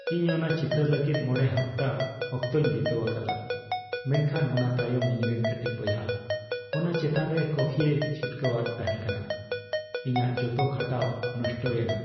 ᱤᱧ ᱚᱱᱟ ᱪᱤᱛᱟᱹᱨ ᱞᱟᱹᱜᱤᱫ ᱕ ᱦᱟᱯᱛᱟ ᱚᱠᱛᱚᱧ ᱵᱤᱛᱟᱹᱣᱟᱠᱟᱫᱟ ᱢᱮᱱᱠᱷᱟᱱ ᱚᱱᱟ ᱛᱟᱭᱚᱢ ᱤᱧᱨᱮᱱ ᱠᱟᱹᱴᱤᱡ ᱵᱚᱭᱦᱟ ᱚᱱᱟ ᱪᱮᱛᱟᱱ ᱨᱮ ᱠᱚᱯᱷᱤᱭ ᱪᱷᱤᱴᱭᱟᱹᱣᱟᱫ ᱛᱟᱦᱮᱠᱟᱱᱟ ᱾ ᱤᱧᱟᱜ ᱡᱚᱛᱚ ᱠᱷᱟᱴᱟᱣ ᱱᱚᱥᱴᱚᱭᱮᱱᱟ ᱾